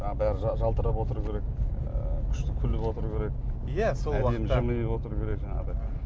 жаңағы бәрі жалтырап отыру керек і күшті күліп отыру керек әдемі жымиып отыру керек жаңағыдай